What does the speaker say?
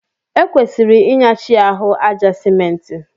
E kwesịrị Ị nyachi ahụ àjá Simenti